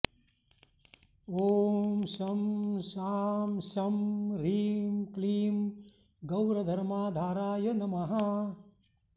ॐ शं शां षं ह्रीं क्लीं गौरधर्माधाराय नमः